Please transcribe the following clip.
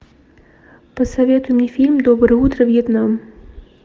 посоветуй мне фильм доброе утро вьетнам